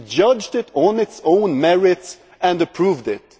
We judged it on its own merits and approved it.